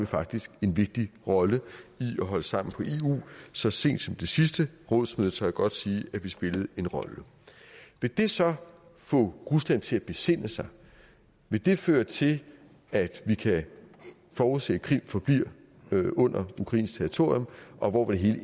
faktisk en vigtig rolle i at holde sammen på eu så sent som ved det sidste rådsmøde tør jeg godt sige at vi spillede en rolle vil det så få rusland til at besinde sig vil det føre til at vi kan forudse at krim forbliver ukrainsk territorium og hvor vil det